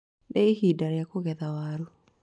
Nĩ ihinda rĩa kũgetha waru.